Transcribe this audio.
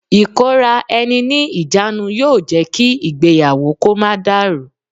Ìkóra ẹni ní ìjánu yóò jẹ́ kí ìgbéyàwó kó má dàrú.